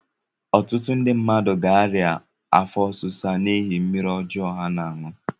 Ọtụtụ ndị mmadụ ga-arịa afọ ọsisa n'ihi mmiri ọjọ ha na-aṅụ.